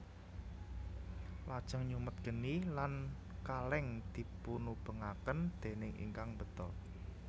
Lajeng nyumet geni lan kaleng dipunubengaken déning ingkang mbeta